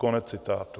- Konec citátu.